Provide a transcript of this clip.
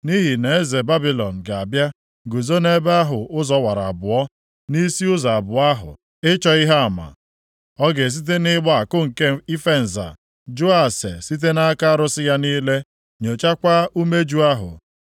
Nʼihi na eze Babilọn ga-abịa guzo nʼebe ahụ ụzọ wara abụọ, + 21:21 Maọbụ, nʼagbata ụzọ nʼisi ụzọ abụọ ahụ ịchọ ihe ama. Ọ ga-esite nʼịgba àkụ nke ife nza, jụọ ase site nʼaka arụsị ya niile, nyochakwaa umeju ahụ.